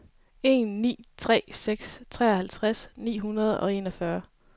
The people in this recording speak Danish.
en ni tre seks treoghalvtreds ni hundrede og enogfyrre